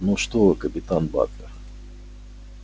ну что вы капитан батлер